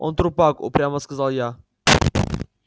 он трупак упрямо сказал я